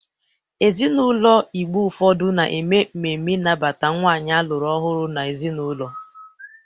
Ezinaụlọ Igbo ụfọdụ na-eme ememe ịnabata nwaanyị alụrụ ọhụrụ n'ezinaụlọ.